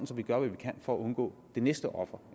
gør hvad vi kan for at undgå det næste offer